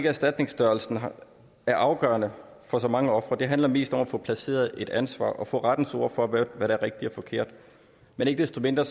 erstatningsstørrelsen er afgørende for så mange ofre det handler mest om at få placeret et ansvar og få rettens ord for hvad der er rigtigt og forkert men ikke desto mindre